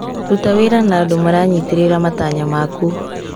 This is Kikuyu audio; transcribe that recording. Ruta wĩra na andũ maranyitĩrĩra matanya maku.